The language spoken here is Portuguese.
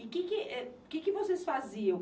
E que que, eh, que que vocês faziam?